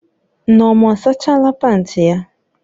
Nneoma asachala panti ya?